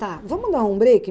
Tá, vamos dar um break?